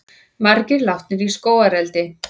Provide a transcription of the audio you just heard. Margir látnir í skógareldi